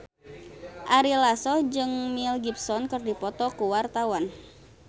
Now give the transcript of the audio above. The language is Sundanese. Ari Lasso jeung Mel Gibson keur dipoto ku wartawan